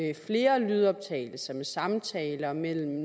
er flere lydoptagelser med samtaler mellem